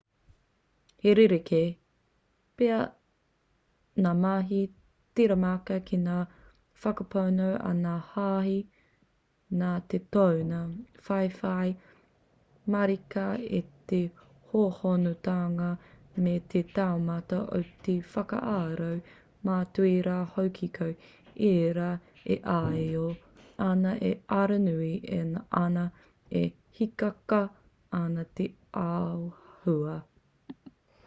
he rerekē pea ngā mahi tiramaka ki ngā whakapono a ngā hāhi nā te tōna whaiwhai marika i te hōhonutanga me te taumata o te whakaaro mātua rā hoki ko ēra e āio ana e aronui ana e hīkaka ana te āhua